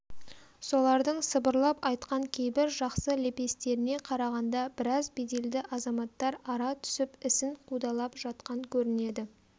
солардың сыбырлап айтқан кейбір жақсы лепестеріне қарағанда біраз беделді азаматтар ара түсіп ісін қудалап жатқан көрінеді